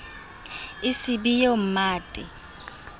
e se be eo mmate